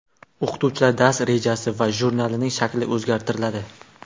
o‘qituvchilar dars rejasi va jurnalining shakli o‘zgartiriladi.